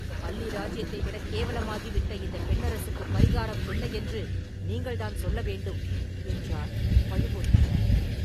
அல்லி ராஜ்யத்தைவிடக் கேவலமாகிவிட்ட இந்தப் பெண்ணரசுக்குப் பரிகாரம் என்ன என்று நீங்கள் தான் சொல்ல வேண்டும்” என்றார் பழுவூர் மன்னர்.